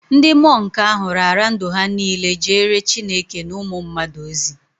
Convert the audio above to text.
Ndị mọnk ahụ raara ndụ ha niile jeere Chineke na ụmụ mmadụ ozi